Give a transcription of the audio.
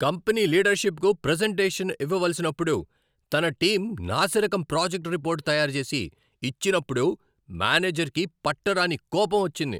Company లీడర్షిప్కు presentation ఇవ్వవలసినప్పుడు తన టీం నాసిరకం ప్రాజెక్ట్ రిపోర్ట్ తయారు చేసి ఇచ్చినప్పుడు మేనేజర్కి పట్టరాని కోపం వచ్చింది.